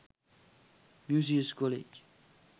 musaeus college